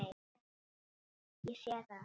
Ég sé það.